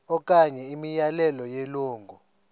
okanye imiyalelo yelungu